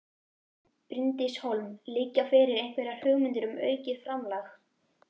Bryndís Hólm: Liggja fyrir einhverjar hugmyndir um aukið framlag?